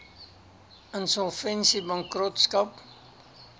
insolvensiebankrotskap